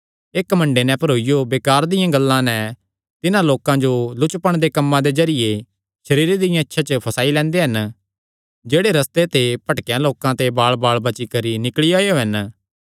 एह़ घमंडे नैं भरोईयां बेकार दियां गल्लां नैं तिन्हां लोकां जो लुचपण दे कम्मां दे जरिये सरीरे दियां इच्छां च फंसाई लैंदे हन जेह्ड़े रस्ते ते भटकेयां लोकां ते बालबाल बची करी निकल़ी आएयो हन